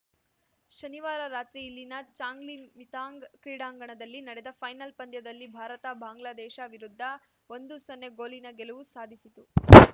ಶನಿವಾರ ರಾತ್ರಿ ಇಲ್ಲಿನ ಚಾಂಗ್‌ಲಿಮಿಥಾಂಗ್‌ ಕ್ರೀಡಾಂಗಣದಲ್ಲಿ ನಡೆದ ಫೈನಲ್‌ ಪಂದ್ಯದಲ್ಲಿ ಭಾರತ ಬಾಂಗ್ಲಾದೇಶ ವಿರುದ್ಧ ಒಂದುಸೊನ್ನೆ ಗೋಲಿನ ಗೆಲುವು ಸಾಧಿಸಿತು